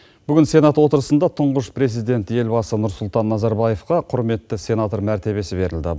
бүгін сенат отырысында тұңғыш президент елбасы нұрсұлтан назарбаевқа құрметті сенатор мәртебесі берілді